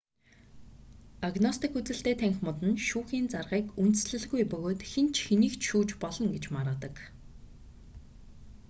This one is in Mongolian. агностик үзэлтэй танхимууд нь шүүхийн заргыг үндэслэлгүй бөгөөд хэн ч хэнийг ч шүүж болно гэж маргадаг